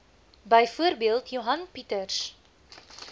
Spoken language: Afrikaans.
byvoorbeeld johan pieters